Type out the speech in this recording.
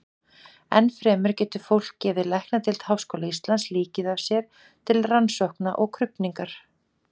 Enn fremur getur fólk gefið læknadeild Háskóla Íslands líkið af sér til rannsókna og krufningar.